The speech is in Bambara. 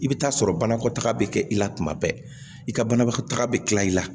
I bɛ taa sɔrɔ banakɔtaga bɛ kɛ i la kuma bɛɛ i ka banabagatɔ taga bɛ kila i la